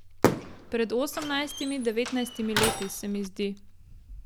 Pred osemnajstimi, devetnajstimi leti, se mi zdi.